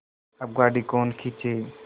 अब गाड़ी कौन खींचे